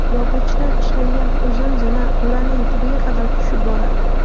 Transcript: Yog‘ochdan ishlangan uzun zina o‘raning tubiga qadar tushib boradi.